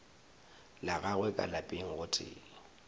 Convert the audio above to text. la gagwe ka lapeng gotee